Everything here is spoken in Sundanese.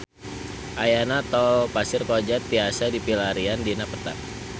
Ayeuna Tol Pasir Koja tiasa dipilarian dina peta